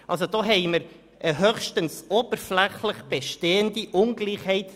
Diesbezüglich haben wir eine höchstens oberflächlich bestehende Ungleichheit.